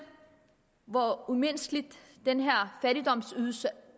hvor umenneskelig den her fattigdomsydelse